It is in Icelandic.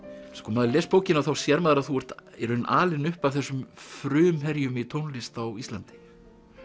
maður les bókina þá sér maður að þú ert í raun alinn upp af þessum frumherjum í tónlist á Íslandi